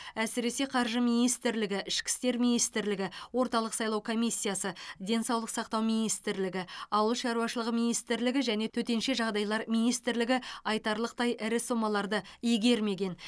әсіресе қаржы министрлігі ішкі істер министрлігі орталық сайлау комиссиясы денсаулық сақтау министрлігі ауыл шаруашылығы министрлігі және төтенше жағдайлар министрлігі айтарлықтай ірі сомаларды игермеген